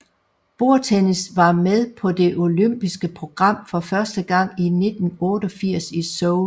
Bordtennis var med på det olympiske program for første gang i 1988 i Seoul